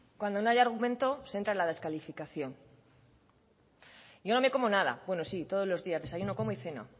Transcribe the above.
cuando no hay argumento se entra en la descalificación yo no me como nada bueno sí todos los días desayuno como y ceno